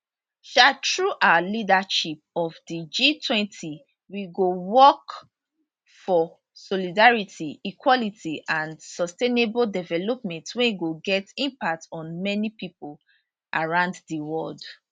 um through our leadership of di g20 we go work for solidarity equality and sustainable development wey go get impact on many pipo around di world